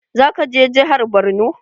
Zaka je jihar Borno?